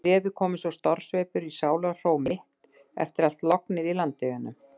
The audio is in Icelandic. Bréfið kom eins og stormsveipur í sálarhró mitt eftir allt lognið í Landeyjunum.